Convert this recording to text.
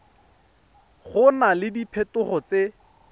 go na le diphetogo tse